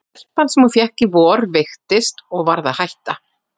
Stelpan sem hún fékk í vor veiktist og varð að hætta.